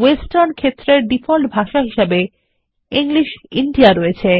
western ক্ষেত্রের default ভাষা হিসাবে ইংলিশ ইন্দিয়া রয়েছে